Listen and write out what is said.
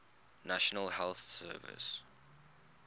national health service